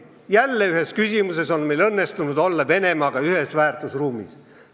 Jälle on meil ühes küsimuses õnnestunud olla Venemaaga ühes väärtusruumis.